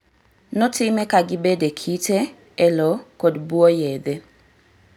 Notime ka gibed e kite, e lo kod buo yedhe